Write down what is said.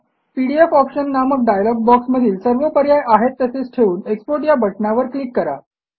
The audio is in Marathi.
पीडीएफ ऑप्शन नामक डायलॉग बॉक्समधील सर्व पर्याय आहेत तसेच ठेवून एक्सपोर्ट या बटणावर क्लिक करा